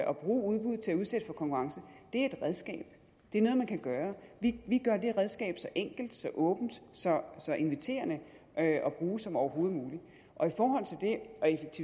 at bruge udbud til at udsætte for konkurrence er et redskab det er noget man kan gøre vi gør det redskab så enkelt så åbent så inviterende at bruge som overhovedet muligt og